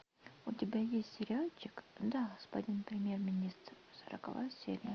у тебя есть сериальчик да господин премьер министр сороковая серия